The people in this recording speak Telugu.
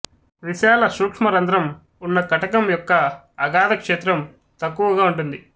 విశాల సూక్ష్మరంధ్రం ఉన్న కటకం యొక్క అగాథక్షేత్రం తక్కువగా ఉంటుంది